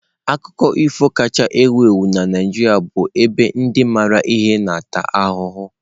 Akụkọ ifo kacha ewu ewu na Naijiria ebe ndị maara ihe na-ata ahụhụ.